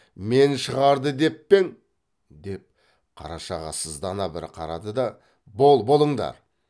мен шығарды деп пе ең деп қарашаға сыздана бір қарады да бол болыңдар